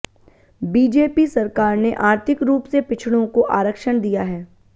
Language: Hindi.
बीजेपी सरकार ने आर्थिक रूप से पिछड़ों को आरक्षण दिया है